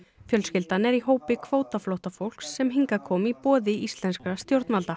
fjölskyldan er í hópi kvótaflóttafólks sem hingað kom í boði íslenskra stjórnvalda